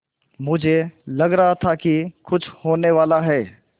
मुझे लग रहा था कि कुछ होनेवाला है